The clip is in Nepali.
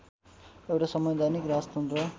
एउटा संवैधानिक राजतन्त्र